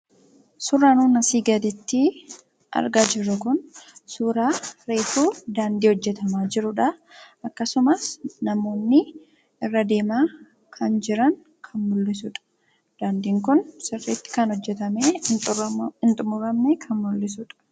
Suuraan nuti asii gaditti argaa jirru kun suuraa reefu daandii hojjatamaa jirudha. Akkasumas namoonni irra deemaa jiran. Daandiin kun kan hojjatamee hin xumuramne maaliifidha?